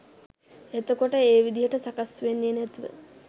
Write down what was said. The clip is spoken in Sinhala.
එතකොට ඒ විදිහට සකස් වෙන්නෙ නැතිව